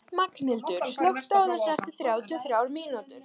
Magnhildur, slökktu á þessu eftir þrjátíu og þrjár mínútur.